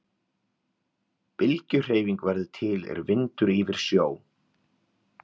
Bylgjuhreyfing verður til er vindur ýfir sjó.